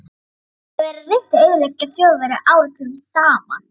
Það hefur verið reynt að eyðileggja Þjóðverja áratugum saman.